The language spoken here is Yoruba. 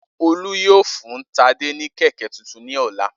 Olu yoo fun Tade ni kẹ̀kẹ́ tuntun ni ọla.